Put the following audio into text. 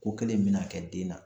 Ko kelen in mina kɛ den na.